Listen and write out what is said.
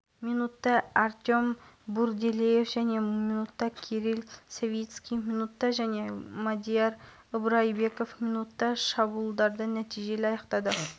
бірінші минутта-ақ владимир гребенщиковтің көмегімен есеп ашты келесі минутта әлихан әсетов есепті еселей түссе араға